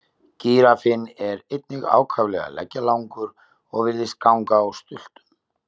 Gíraffinn er einnig ákaflega leggjalangur og virðist ganga á stultum.